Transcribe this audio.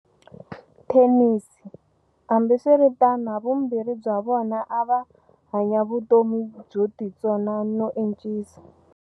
Thenisi, hambiswiritano havumbirhi byavona a va hanya vutomi byo titsona no encisa.